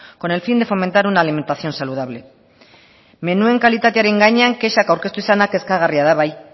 con el fin de fomentar una alimentación saludable menuen kalitatearen gainean kexak aurkeztu izanak kezkagarri da bai